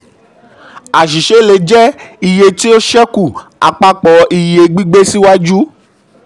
àṣìṣe le jẹ: iye tí ó ṣekú àpapọ̀ iye ṣekú àpapọ̀ iye gbígbé síwájú.